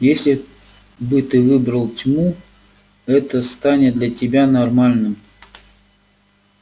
если бы ты выбрал тьму это станет для тебя нормальным